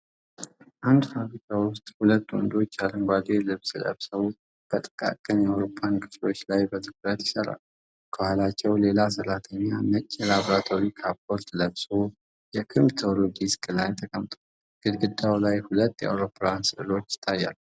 አንድ ፋብሪካ ውስጥ፣ ሁለት ወንዶች አረንጓዴ ልብስ ለብሰው በጥቃቅን የአውሮፕላን ክፍሎች ላይ በትኩረት ይሰራሉ። ከኋላቸው፣ ሌላ ሠራተኛ ነጭ የላብራቶሪ ካፖርት ለብሶ በኮምፒዩተር ዴስክ ላይ ተቀምጧል። ግድግዳው ላይ ሁለት የአውሮፕላን ሥዕሎች ይታያሉ።